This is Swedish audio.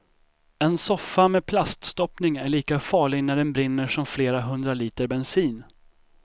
En soffa med plaststoppning är lika farlig när den brinner som flera hundra liter bensin.